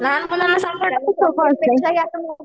लहान मुलांना सांभाळणं खूप सोपं आहे.